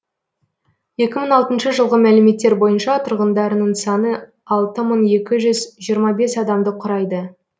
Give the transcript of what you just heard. екі мың алтыншы жылғы мәліметтер бойынша тұрғындарының саны алты мың екі жүз жиырма бес адамды құрайды